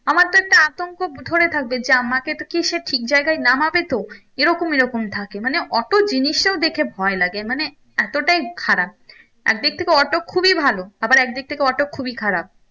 আমার তো একটা আতঙ্ক ধরে থাকবে যে আমাকে কি সে ঠিক জায়গায় নামবে তো এরকম এরকম থাকে মানে অটো জিনিসটাও দেখে ভয় লাগে মানে এতটাই খারাপ এক দিক থেকে অটো খুবই ভালো আবার এক দিক থেকে অটো খুবই খারাপ